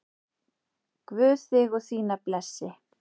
Guð þig og þína blessi.